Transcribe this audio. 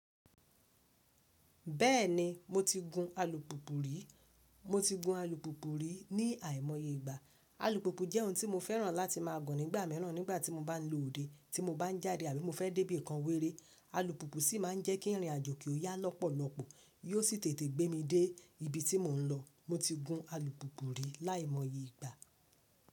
Bẹ́ẹ̀ni, mo ti gun alùpùpù rí. Mo ti gun alùpùpù rí ní àìmọye ìgbà. Alùpùpù jẹ́ ohun tí mo fẹ́ràn láti máa gun nígbà mìíràn nígbà tí mo bá ń lọ òde, tí mo bá ń jáde àbí mo fẹ́ dé ibìkan wéré. Alùpùpù ṣì máa ń jẹ́ kí ìrìnàjò kí ó yá lọ́pọ̀lọpọ̀ yó sì tètè gbé mi dé ibi tí mò ń lọ. Mo ti gun alùpùpù rí láìmọye ìgbà.